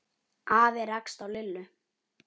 Afi rakst á Lillu.